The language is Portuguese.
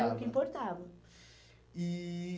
Era o que importava. E...